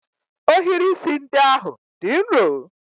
Ohiri isi ndị ahụ dị nro?